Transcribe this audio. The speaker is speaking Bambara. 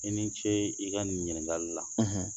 I ni ce i ka ɲininkagali la